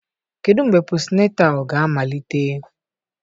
Kedu mgbe posịnetal ga-amalite?